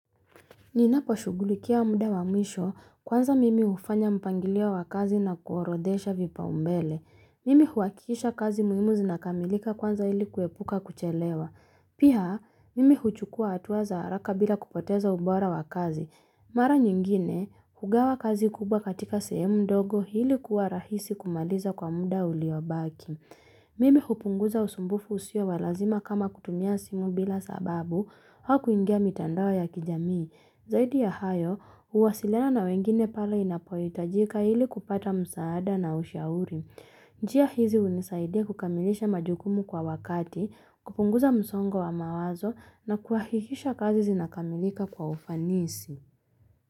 Ninaposhugulikia mda wa mwisho kwanza mimi ufanya mpangilio wa kazi na kuorodhesha vipaumbele. Mimi huhakisha kazi muimu zinakamilika kwanza ili kuepuka kuchelewa. Pia mimi huchukua atua za haraka bila kupoteza ubora wa kazi. Mara nyingine, hugawa kazi kubwa katika sehemu ndogo hili kuwa rahisi kumaliza kwa mda uliobaki. Mimi hupunguza usumbufu usio wa lazima kama kutumia simu bila sababu hau kuingia mitandao ya kijamii. Zaidi ya hayo, uwasiliana na wengine pale inapohitajika hili kupata msaada na ushauri. Njia hizi unisaidia kukamilisha majukumu kwa wakati, kupunguza msongo wa mawazo na kuhahikisha kazi zinakamilika kwa ufanisi.